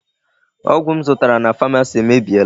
Ọgụ m zụtara na Pharmacy emebiela.